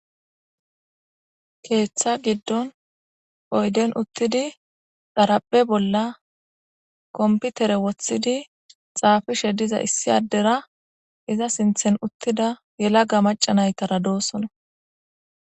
keeththa giddon oyden uttidi xaraphe bolla komputere wothidi xaafishe diza issi addera iza sinthen uttida yelaga maca nayitara doosona